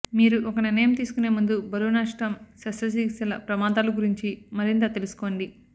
మీరు ఒక నిర్ణయం తీసుకునే ముందు బరువు నష్టం శస్త్రచికిత్సల ప్రమాదాలు గురించి మరింత తెలుసుకోండి